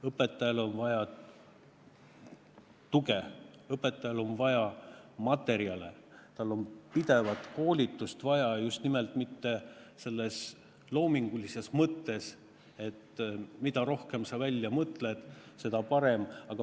Õpetajal on vaja tuge, õpetajal on vaja materjale, tal on pidevat koolitust vaja just nimelt mitte selles loomingulises mõttes, et mida rohkem sa välja mõtled, seda parem.